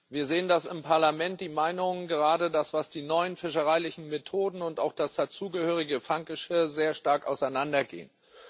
Wir sehen, dass im Parlament die Meinungen gerade bezüglich der neuen fischereilichen Methoden und auch des dazugehörigen Fanggeschirrs sehr stark auseinandergehen.